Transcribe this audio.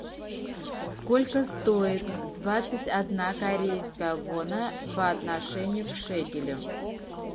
сколько стоит двадцать одна корейская вона по отношению к шекелю